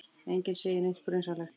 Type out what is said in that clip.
Enginn segir neitt grunsamlegt.